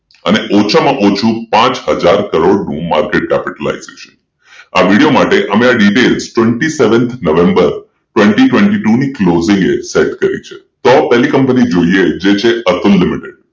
અને ઓછામાં ઓછું પાંચ હજાર કરોડનું માર્કેટ capitalization આ વિડીયો માટે અમે આ details twenty seven November twenty twenty two closing set કરી છે જો પેલી કંપની જોઈએ જે છે અતુલ લિમિટેડ